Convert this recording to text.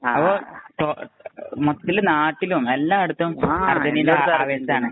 അപ്പൊ ടോ മക്കില്, നാട്ടിലും., എല്ലായിടത്തും അര്‍ജന്‍റീന